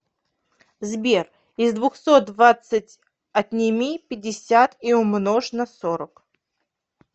сбер из двухсот двадцать отними пятьдесят и умножь на сорок